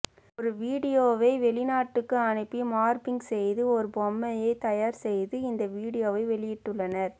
ஒரு வீடியோவை வெளிநாட்டுக்கு அனுப்பி மார்பிங் செய்து ஒரு பொம்மையை தயார் செய்து இந்த வீடியோவை வெளியிட்டுள்ளனர்